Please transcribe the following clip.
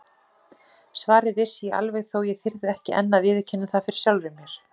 Svarið vissi ég alveg þótt ég þyrði ekki enn að viðurkenna það fyrir sjálfri mér.